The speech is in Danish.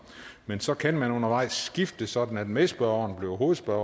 men så kan man undervejs skifte sådan at medspørgeren bliver hovedspørger